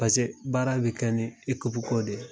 Pase baara bɛ kɛ ni ikipu ko de ye.